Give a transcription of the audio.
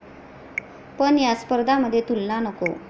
पण या स्पर्धामध्ये तुलना नको.